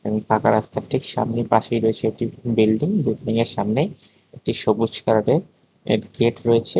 ফাঁকা রাস্তার ঠিক সামনে পাশেই রয়েছে একটি বিল্ডিং বিল্ডিংয়ের সামনে একটি সবুজ কালারের গেট রয়েছে।